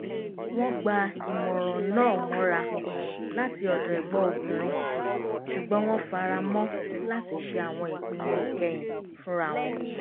wọ́n gba ìmọ̀ràn náà mọ́ra láti ọ̀dọ̀ ẹ̀gbọ́n obìnrin ṣugbọ́n wọ́n fara mọ́ láti ṣe àwọn ìpinnu ìkẹyìn fúnra wọn